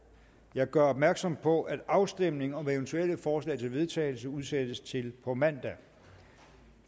jeg gør opmærksom på at afstemningen om eventuelle forslag til vedtagelse udsættes til på mandag